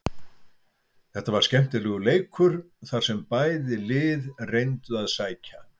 Þetta var skemmtilegur leikur þar sem bæði lið reyndu að sækja.